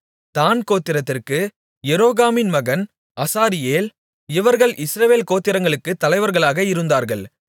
தாண் கோத்திரத்திற்கு எரோகாமின் மகன் அசாரியேல் இவர்கள் இஸ்ரவேல் கோத்திரங்களுக்குத் தலைவர்களாக இருந்தார்கள்